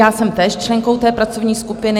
Já jsem též členkou té pracovní skupiny.